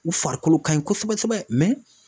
U farikolo ka ɲi kosɛbɛ kosɛbɛ